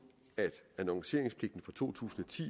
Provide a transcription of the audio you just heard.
at annonceringspligten fra to tusind og ti